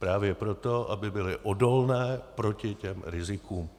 Právě proto, aby byly odolné proti těm rizikům.